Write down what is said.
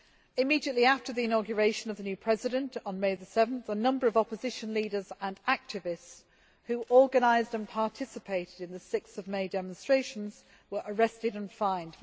Immediately after the inauguration of the new President on 7 May, a number of opposition leaders and activists who organised and participated in the 6 May demonstrations were arrested and fined.